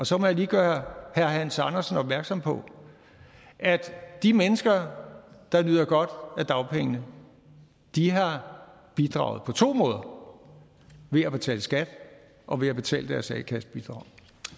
så må jeg lige gøre herre hans andersen opmærksom på at de mennesker der nyder godt af dagpengene har bidraget på to måder ved at betale skat og ved at betale deres a kassebidrag